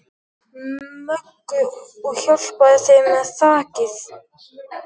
Möggu og hjálpaði þeim með þakið.